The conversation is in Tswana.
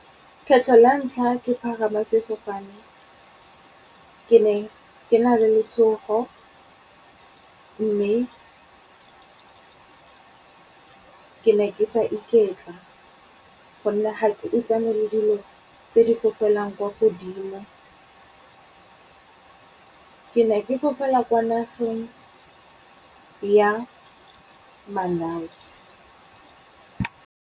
kgetlho la ntlha ke pagama sefofane, ke ne ke na le letshogo, mme ke ne ke sa iketla. Gonne ga ke utlwane le dilo tse di fofelang kwa godimo, ke ne ke fofela kwa nageng ya Malawi.